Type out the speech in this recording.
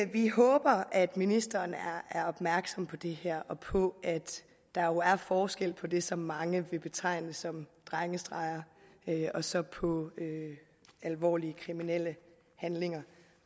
vi håber at ministeren er opmærksom på det her og på at der jo er forskel på det som mange vil betegne som drengestreger og så på alvorlige kriminelle handlinger